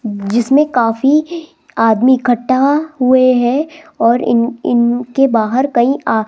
जिसमें काफी आदमी इकट्ठा हुए हैं और इन इनके बाहर कई आ --